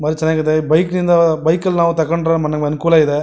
ಬಾಲ ಚೆನ್ನಾಗಿದೆ ಈ ಬೈಕಿಂದ ಬೈಕ್ ಅಲ್ ನಾವ್ ತಕಂಡ್ರೆ ಮನೆಗ್ ಅನುಕೂಲ ಇದೆ.